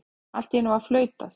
Allt í einu var flautað.